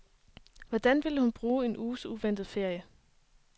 Hvordan ville hun bruge en uges uventet ferie?